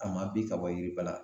A ma bin ka bɔ yiri ba la